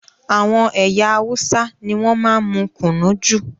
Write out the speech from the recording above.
Àwọn ẹyà Hausa ní wọn máa n mú kùnú jù